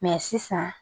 Mɛ sisan